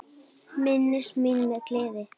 Minnist mín með gleði.